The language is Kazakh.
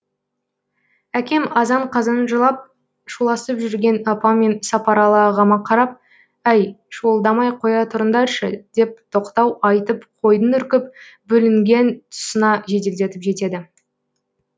әкем азан қазан жылап шуласып жүрген апам мен сапаралы ағама қарап әй шуылдамай қоя тұрыңдаршы деп тоқтау айтып қойдың үркіп бөлінген тұсына жеделдетіп жетеді